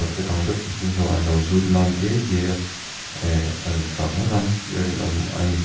khawpin saw an lo zut mam diai diai a eee a rintlak ngawt ang tih a rinawm a ni.